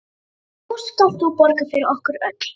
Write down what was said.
Nú skalt þú borga fyrir okkur öll.